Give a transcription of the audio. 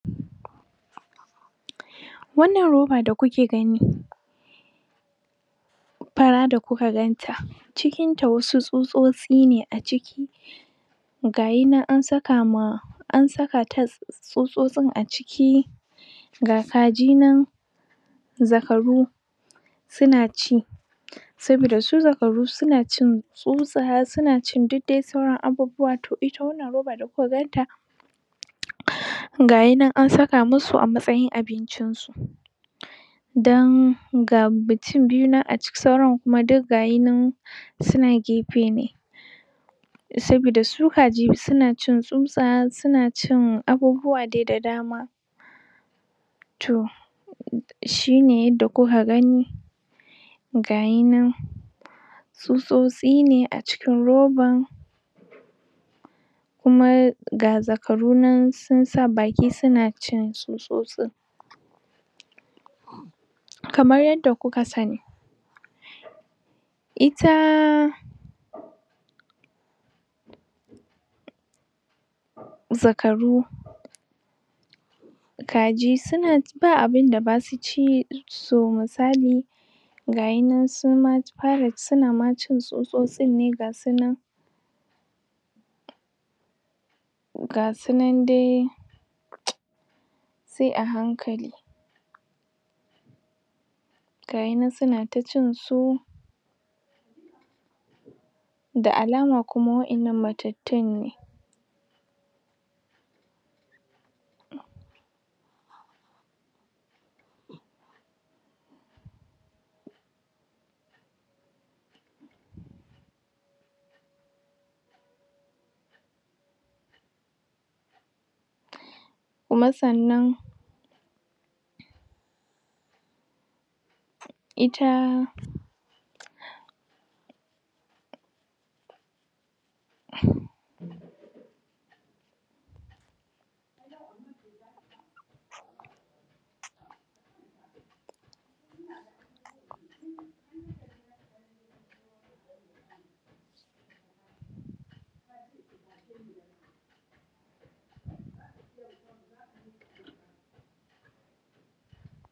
Wannan roba da kuke gani Fara da kuka ganta. Cikinta wasu tsutsotsi ne aciki Gayinan an sakama an sakata tsutsotsin a ciki Ga kaji nan zakaru sunaci saboda su zakaru sunacin tsutsa sunacin duk de sauran abubuwa to ita wannan roba da kuka ganta, gayinan an saka musu a matsayin abinci dan ga mutum biyu nan a ciki sauran kuma duk gayinan suna gefe ne saboda su kaji sunacin tsutsa sunacin abubuwa dai de da dama Toh shine yadda kuka gani gayinan tsutsotsi ne acikin roban kuma ga zakaru nan sunsa baki suna cin tsutsotsin Kamar yanda kuka sani Ita zakaru kaji ba abinda basu ci so musali gashinan sunma fara- sunama cin tsutsotsin ne gasunan Gasunan dai sai a hankali gayinan suna ta cinsu da alama kuma wa'innan matattun ne Kuma sannan Ita